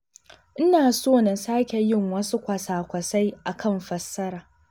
Ina so na sake yin wasu kwasa-kwasai a kan fassara.